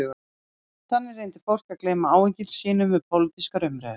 Þannig reyndi fólk að gleyma áhyggjum sínum við pólitískar umræður.